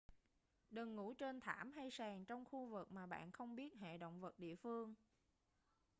đừng ngủ trên thảm hay sàn trong khu vực mà bạn không biết hệ động vật địa phương